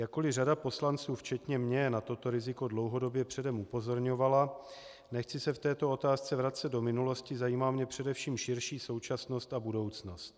Jakkoli řada poslanců včetně mě na toto riziko dlouhodobě předem upozorňovala, nechci se v této otázce vracet do minulosti, zajímá mě především širší současnost a budoucnost.